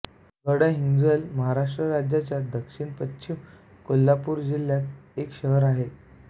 गडहिंग्लज महाराष्ट्र राज्याच्या दक्षिणपश्चिम कोल्हापूर् जिल्ह्यात एक शहर आहे